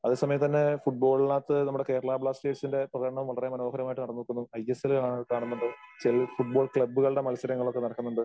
അതേസമയത്ത് തന്നെ ഫുട്‍ബോളിനകത്ത് നമ്മടെ കേരളാ ബ്ലാസ്റ്റേഴ്സിന്റെ പ്രകടനം വളരെ മനോഹരമായിട്ട് നടക്കുന്നു. ഐ.എസ്.എൽ കാണാ കാണുന്നുണ്ട്. ചില ഫുട്ബോൾ ക്ലബ്ബുകളുടെ മത്സരങ്ങളൊക്കെ നടക്കുന്നുണ്ട്.